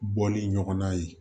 Bɔli ɲɔgɔnna ye